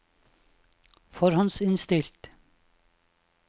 forhåndsinnstilt